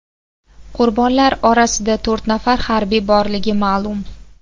Qurbonlar orasida to‘rt nafar harbiy borligi ma’lum.